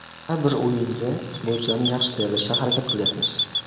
Har bir o‘yinga futbolchilarni yaxshi tayyorlashga harakat qilyapmiz.